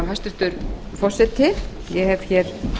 hæstvirtur forseti ég hef hér